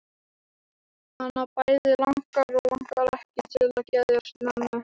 Hana bæði langar og langar ekki til að geðjast mömmu.